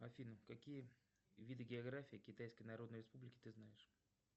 афина какие виды географии китайской народной республики ты знаешь